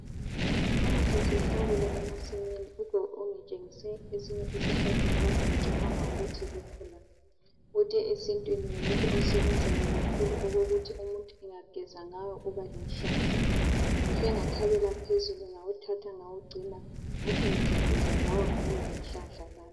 Namuhla sihlakula emasimi ugogo ungitshengise esinye isihlahla akade ngicabanga ukuthi lukhula .Uthe esintwini ngumuthi osebenzayo kakhulu okokuthi umuntu engageza ngawo uba lenhlanhla. Ngihle ngathabela phezulu ngawuthatha ngawugcina , ngathi ngizageza ngawo ngibe lenhlanhla lami.